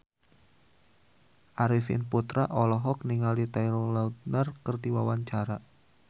Arifin Putra olohok ningali Taylor Lautner keur diwawancara